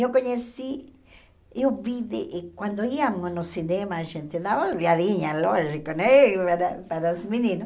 Eu conheci, eu vi, de quando íamos no cinema, a gente dava olhadinha, lógico né, para para os meninos.